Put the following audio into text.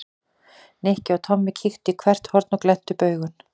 Nikki og Tommi kíktu í hvert horn og glenntu upp augun.